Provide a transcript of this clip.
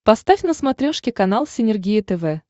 поставь на смотрешке канал синергия тв